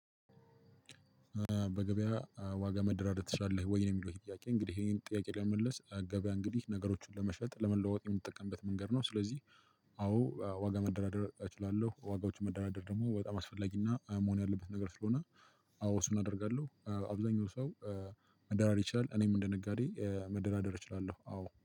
በገበያ ዋጋ መደራደር ትችላለህ ወይ ነው የሚለው ጥያቄ? እንግዲህ ይሄን ጥያቄ ለመመለስ ገበያ እንግዲህ ነገሮችን ለመሸጥ ለመለዋወጥ የምንጠቀምበት መንገድ ስለዚህ። አዎ ዋጋ መደራደር እችላለሁ። ዋጋዎቹ መደራደር ደግሞ በጣም አስፈላጊና መሆን ያለበት ነገር ስለሆነ። አዎ እሱን አደርጋለሁ። አብዛኛው ሰው መደራር ይቻላል። እኔም እንደ ነጋዴ መደራደር እችላለሁ አዎ